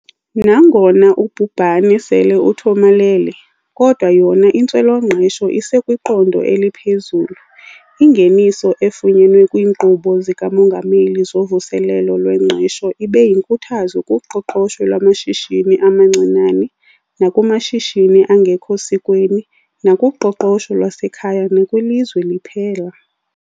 Nangona ubhubhane sele uthomalele, kodwa yona intswela-ngqesho isekwiqondo eliphezulu. Ingeniso efunyenwe kwiinkqubo zikaMongameli zoVuselelo lweNgqesho ibe yinkuthazo kuqoqosho lwamashishini amancinane nakumashishini angekho sikweni nakuqoqosho lwasekhaya nakwilizwe liphela.